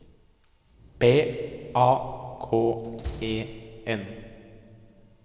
B A K E N